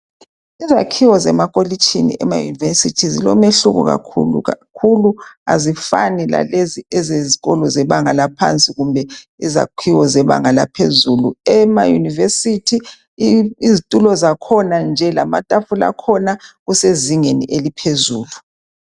Izakhiwo zemakolitshini emayunivesithi zilomahluko kakhulu kakhulu azifani lalezi ezebanga laphansi kumbe izakhiwo zebanga laphezulu emayunivesithi izitula zakhona nje lamatafula akhona kusezingeni eliphezulu.